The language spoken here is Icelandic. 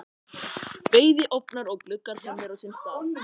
Bæði ofnar og gluggar komnir á sinn stað.